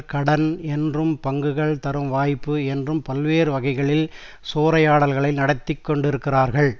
கடன் என்றும் பங்குகள் தரும் வாய்ப்பு என்றும் பல்வேறு வகைகளில் சூறையாடல்களை நடத்திக்கொண்டிருக்கிறார்கள்